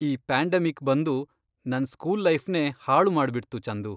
ಈ ಪ್ಯಾಂಡೆಮಿಕ್ ಬಂದು ನನ್ ಸ್ಕೂಲ್ ಲೈಫ್ನೇ ಹಾಳು ಮಾಡ್ಬಿಡ್ತು, ಚಂದು.